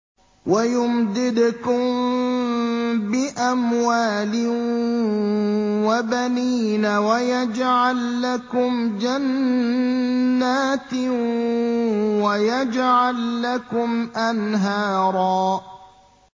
وَيُمْدِدْكُم بِأَمْوَالٍ وَبَنِينَ وَيَجْعَل لَّكُمْ جَنَّاتٍ وَيَجْعَل لَّكُمْ أَنْهَارًا